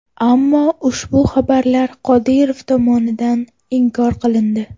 Ammo ushbu xabarlar Qodirov tomonidan inkor qilindi.